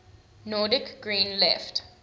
nordic green left